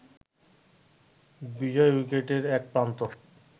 বিজয় উইকেটের এক প্রান্ত